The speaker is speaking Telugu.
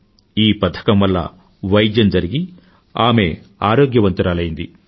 ఈ పథకం వల్ల వైద్యం జరిగి ఆమె ఆరోగ్యవంతురాలైంది